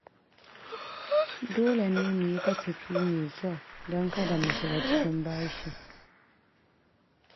Dole ne mu yi kasafi mai kyau don kada mu shiga cikin bashi.